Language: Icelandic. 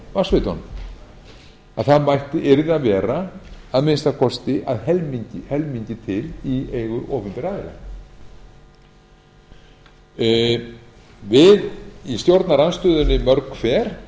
á vatnsveitunum að það yrði að vera að minnsta kosti að helmingi til í eigu opinberra aðila við í stjórnarandstöðunni mörg hver